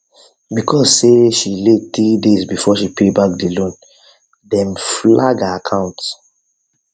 because say she late 3 days before she pay back the loan dem flag her account